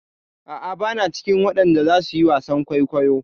A'a, bana cikin waɗanda zasu yi wasan kwaikwayo.